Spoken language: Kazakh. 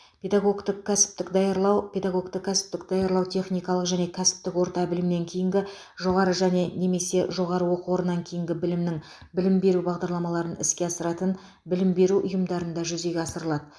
педагогті кәсіптік даярлау педагогті кәсіптік даярлау техникалық және кәсіптік орта білімнен кейінгі жоғары және немесе жоғары оқу орнынан кейінгі білімнің білім беру бағдарламаларын іске асыратын білім беру ұйымдарында жүзеге асырылады